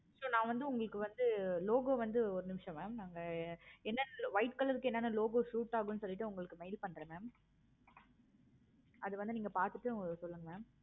so நா வந்து உங்களுக்கு வந்து logo வந்து ஒரு நிமிஷம் mam நாங்க என்ன white color க்கு என்ன logo suit ஆகுமுன்னுன்றது உங்களுக்கு mail பண்றே mam okay okay mam அது வந்து நீங்க பார்த்துட்டு சொல்லுங்க mam